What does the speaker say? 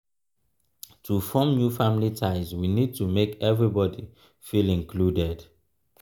to form new family ties we need to make everybody feel included